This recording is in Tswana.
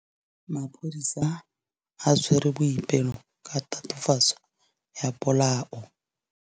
Maphodisa a tshwere Boipelo ka tatofatsô ya polaô.